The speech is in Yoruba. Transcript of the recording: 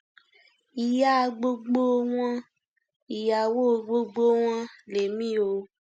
ìyá gbogbo wọn ìyàwó gbogbo wọn lèmi o